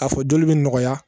A fɔ joli bɛ nɔgɔya